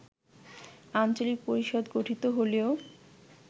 আঞ্চলিক পরিষদ গঠিত হলেও